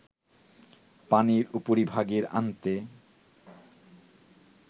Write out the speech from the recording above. পানির উপরিভাগে আনতে